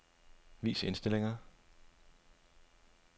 Vis indstillinger.